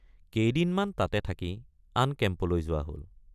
কেদিনমান তাতে থাকি আন কেম্পলৈ যোৱা হল।